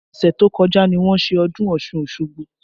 Ọsẹ tó kọjá ni wọ́n ṣe ọdún Ọ̀ṣun Osogbo